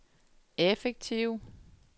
effektive